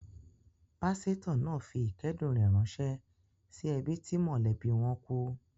Pásítọ̀ náà fi ìkẹ́dùn rẹ̀ ránṣẹ́ sí ẹbí tí mọ́lẹ̀bi wọn kú.